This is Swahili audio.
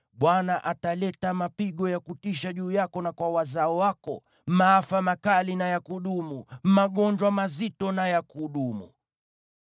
Bwana ataleta mapigo ya kutisha juu yako na kwa wazao wako, maafa makali na ya kudumu, magonjwa mazito na ya kudumu.